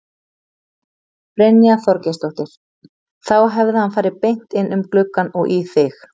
Brynja Þorgeirsdóttir: Þá hefði hann farið beint inn um gluggann og í þig?